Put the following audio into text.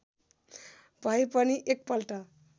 भए पनि एकपल्ट